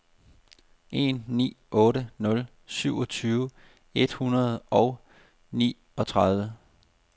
en ni otte nul syvogtyve et hundrede og niogtredive